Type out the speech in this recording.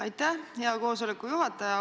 Aitäh, hea koosoleku juhataja!